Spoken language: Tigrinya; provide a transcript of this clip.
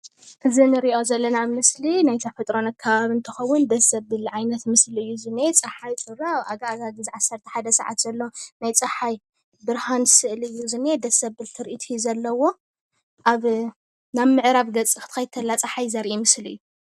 እዚ እንሪኦ ዘለና ምስሊ ናይ ተፈጥሮን ኣከባብን እንትከውን ደስ ዘብል ዓይነት ምስሊ እዩ ዝኒኤ ፀሓይ ጩራ ከባቢ ዓሰርተ ሓደ ሰዓት ዘሎ ናይ ፀሓይ ብርሃን ስእሊ እዩ ዝኒኤ ደስ ዘብል ትርኢት እዩ ዘለዎ ኣብ ናብ ምዕራብ ገፅ ክትከድ እንተላ ፀሓይ ዘርኢ ምስሊ እዩ።